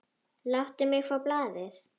Láttu mig fá blaðið!